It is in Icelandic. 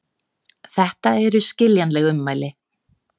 Þetta eru skiljanleg ummæli